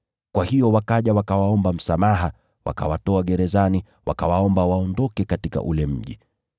Kwa hiyo wakaja wakawaomba msamaha, wakawatoa gerezani, wakawaomba waondoke katika ule mji.